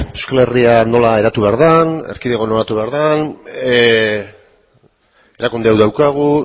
euskal herria nola eratu behar den erkidegoa nola eratu behar den erakunde hau daukagu